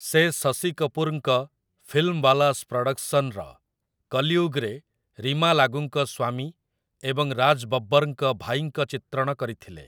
ସେ ଶଶି କପୁରଙ୍କ 'ଫିଲ୍ମୱାଲାସ୍ ପ୍ରଡକ୍ସନ୍'ର 'କଲିୟୁଗ୍'ରେ ରୀମା ଲାଗୂଙ୍କ ସ୍ୱାମୀ ଏବଂ ରାଜ୍ ବବ୍ବର୍‌ଙ୍କ ଭାଇଙ୍କ ଚିତ୍ରଣ କରିଥିଲେ ।